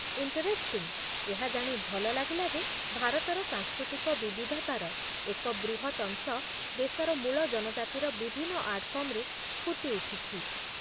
Interesting! ଏହା ଜାଣି ଭଲ ଲାଗିଲା ଯେ ଭାରତର ସାଂସ୍କୃତିକ ବିବିଧତାର ଏକ ବୃହତ୍ ଅଂଶ ଦେଶର ମୂଳ ଜନଜାତିର ବିଭିନ୍ନ ଆର୍ଟ ଫର୍ମରେ ଫୁଟି ଉଠିଛି